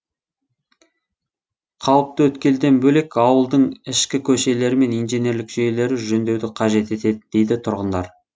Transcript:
қауіпті өткелден бөлек ауылдың ішкі көшелері мен инженерлік жүйелері жөндеуді қажет етеді дейді тұрғындар